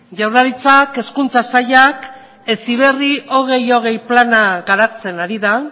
jaurlaritzak hezkuntza sailak heziberri bi mila hogei plana garatzen ari da